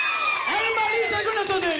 Elma ísa Gunnarsdóttir